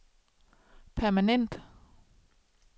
permanent